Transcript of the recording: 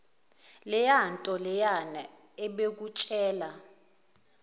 leyanto leyana ebekutshela